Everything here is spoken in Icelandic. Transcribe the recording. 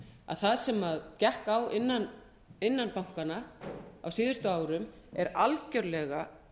að það sem gekk á innan bankanna á síðustu árum er algjörlega